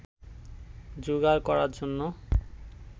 জোগাড় করার জন্য